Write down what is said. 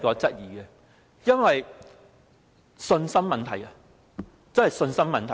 這是信心問題，真的是信心的問題。